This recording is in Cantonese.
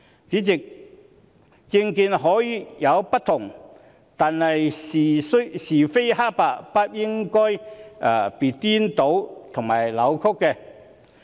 主席，政見可以有不同，但是非黑白不應被顛倒和扭曲。